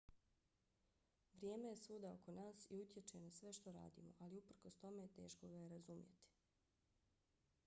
vrijeme je svuda oko nas i utječe na sve što radimo ali uprkos tome teško ga je razumjeti